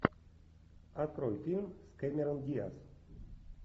открой фильм с кэмерон диаз